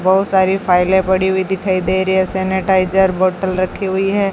बहुत सारी फाइलें पड़ी हुई दिखाई दे रही है सेनीटाइजर बॉटल रखी हुई है।